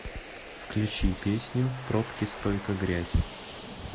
включи песню пробки стройка грязь